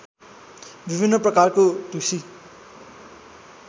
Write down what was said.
विभिन्न प्रकारको ढुसी